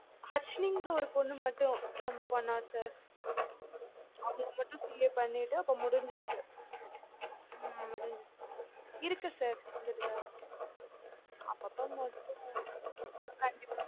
harshini ங்ற ஒரு பொண்ணு மட்டும் ஹம் போன sir அவங்க மட்டும CA பண்ணிட்டு இப்ப முடிஞ்சுருச்சு ஹம் முடிஞ்சுருச்சு. இருக்கு sir ருந்துதுட்டு தான் இருக்கு. அப்பப்ப மட்டும் கண்டிப்பா